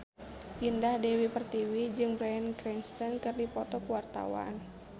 Indah Dewi Pertiwi jeung Bryan Cranston keur dipoto ku wartawan